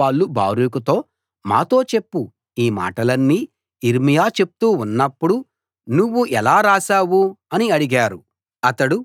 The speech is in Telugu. అప్పుడు వాళ్ళు బారూకుతో మాతో చెప్పు ఈ మాటలన్నీ యిర్మీయా చెప్తూ ఉన్నప్పుడు నువ్వు ఎలా రాశావు అని అడిగారు